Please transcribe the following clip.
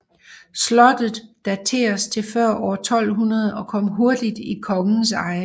Slottet dateres til før år 1200 og kom hurtigt i kongens eje